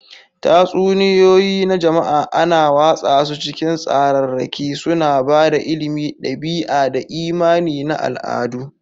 Tatsuniyoyi na jama'a ana watsa su ta cikin tsararraki, suna ba da ilimi, ɗabi'a, da imani na al'adu.